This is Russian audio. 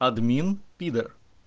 админ пидор